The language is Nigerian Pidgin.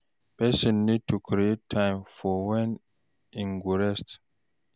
Person need to create time for when im go rest